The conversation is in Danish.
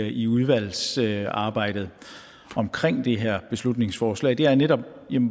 i udvalgsarbejdet omkring det her beslutningsforslag det er netop